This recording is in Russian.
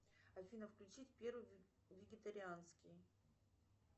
афина включить первый вегетарианский